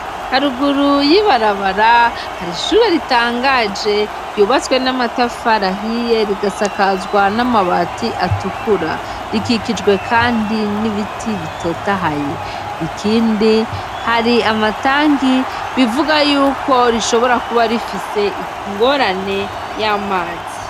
Haruguru y'ibarabara har'ishure ritangaje ryubatswe n'amatafari ahiye rigasakazwa n'amabati atukura, rikikijwe kandi n'ibiti bitotahaye, ikindi hari amatangi bivuga yuko rishobora kuba rifise ingorane y'amazi.